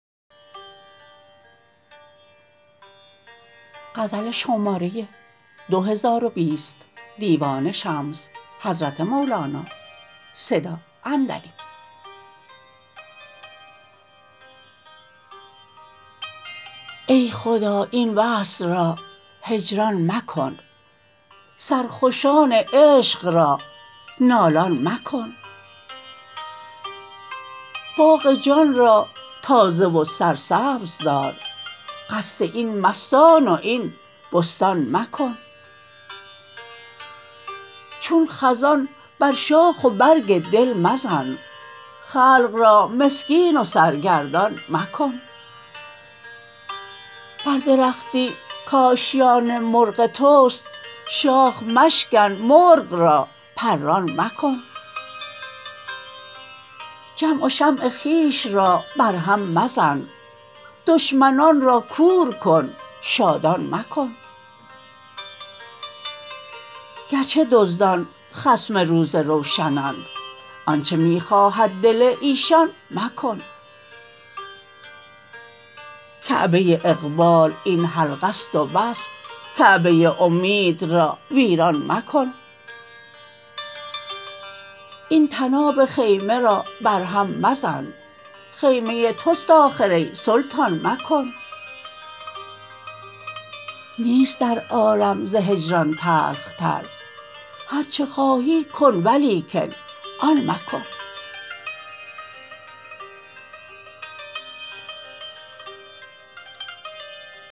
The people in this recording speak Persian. ای خدا این وصل را هجران مکن سرخوشان عشق را نالان مکن باغ جان را تازه و سرسبز دار قصد این مستان و این بستان مکن چون خزان بر شاخ و برگ دل مزن خلق را مسکین و سرگردان مکن بر درختی کآشیان مرغ توست شاخ مشکن مرغ را پران مکن جمع و شمع خویش را برهم مزن دشمنان را کور کن شادان مکن گرچه دزدان خصم روز روشنند آنچ می خواهد دل ایشان مکن کعبه اقبال این حلقه است و بس کعبه امید را ویران مکن این طناب خیمه را برهم مزن خیمه توست آخر ای سلطان مکن نیست در عالم ز هجران تلخ تر هرچه خواهی کن ولیکن آن مکن